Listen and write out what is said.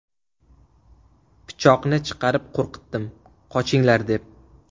Pichoqni chiqarib qo‘rqitdim, qochinglar deb.